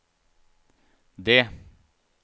det